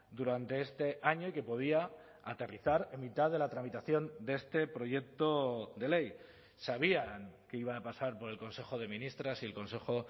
durante este año y que podía aterrizar en mitad de la tramitación de este proyecto de ley sabían que iba a pasar por el consejo de ministras y el consejo